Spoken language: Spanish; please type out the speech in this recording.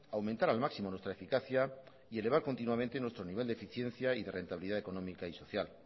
aumentar al máximo nuestra eficacia y elevar continuamente nuestro nivel de eficiencia y de rentabilidad económica y social